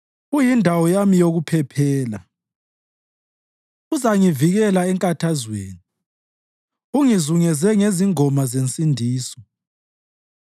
Uyindawo yami yokuphephela; uzangivikela enkathazweni ungizungeze ngezingoma zensindiso.